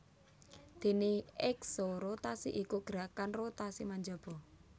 Déné eksorotasi iku gerakan rotasi menjaba